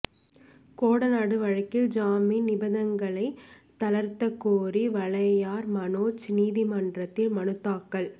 கோடநாடு வழக்கில் ஜாமீன் நிபந்தனைகளை தளர்த்தக் கோரி வாளையார் மனோஜ் நீதிமன்றத்தில் மனு தாக்கல்